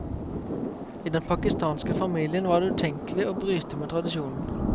I den pakistanske familien var det utenkelig å bryte med tradisjonen.